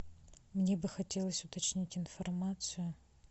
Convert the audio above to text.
мне бы хотелось уточнить информацию